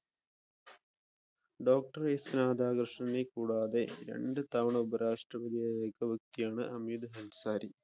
doctor S രാധാകൃഷ്ണനെ കൂടാതെ രണ്ട് തവണ ഉപരാഷ്ട്രപതിയായ ഏക വ്യക്തിയാണ് ഹമീദ് അൻസാരി